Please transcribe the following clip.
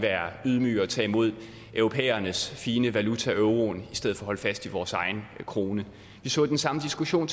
ydmyge og tage imod europæernes fine valuta euroen i stedet for at holde fast i vores egen krone vi så den samme diskussion